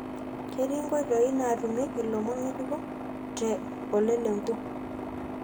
ketii nkotoi natumieki lomon ngejuk te ole lenku